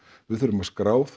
við þurfum að skrá þá